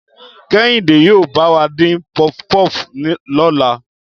Kẹ́hìndé yóò bá wa dín puff puff lọ́la